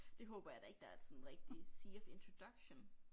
Det håber jeg da ikke der er et sådan rigtig Sea of Introduction